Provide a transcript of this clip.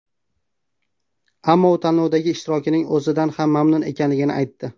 Ammo u tanlovdagi ishtirokining o‘zidan ham mamnun ekanligini aytdi.